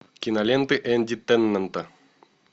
киноленты энди теннанта